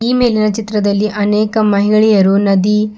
ಈ ಮೇಲಿನ ಚಿತ್ರದಲ್ಲಿ ಅನೇಕ ಮಹಿಳೆಯರು ನದಿ--